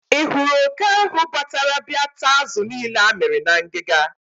Ị hụrụ oke ahụ batara bia taa azụ niile amịrị na ngịga?